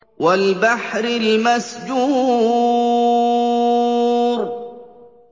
وَالْبَحْرِ الْمَسْجُورِ